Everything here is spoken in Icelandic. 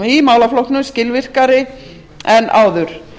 í málaflokknum skilvirkari en áður